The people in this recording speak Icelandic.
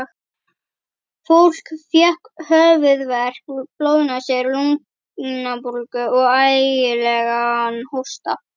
Fólk fékk höfuðverk, blóðnasir, lungnabólgu og ægilegan hósta.